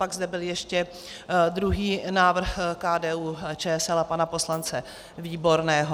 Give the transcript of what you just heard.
Pak zde byl ještě druhý návrh KDU-ČSL a pana poslance Výborného.